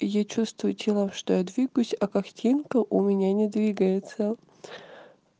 я чувствую телом что я двигаюсь а картинка у меня не двигается